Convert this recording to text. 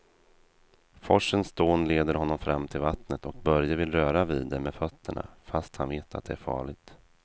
Forsens dån leder honom fram till vattnet och Börje vill röra vid det med fötterna, fast han vet att det är farligt.